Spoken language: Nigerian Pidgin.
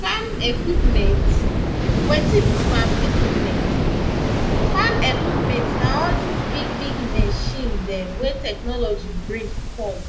farm equipment. wetin be farm equipment? farm equipment na all dis big big machine dem wey technology bring come.